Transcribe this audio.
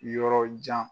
Yɔrɔ jan